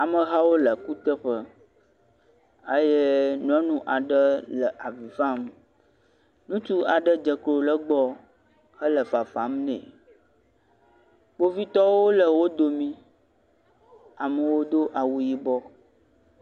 Amehawo le kuteƒe eye nyɔnu aɖe le avi fam, ŋutsu aɖe dze klo le egbɔ hele fafam ne, kpovitɔwo le dome, amewo do awu yibɔ.